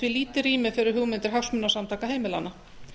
því lítið rými fyrir hugmyndir hagsmunasamtaka heimilanna